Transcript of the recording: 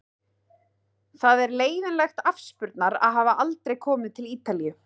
Það er leiðinlegt afspurnar að hafa aldrei komið til Ítalíu.